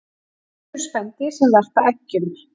Til eru spendýr sem verpa eggjum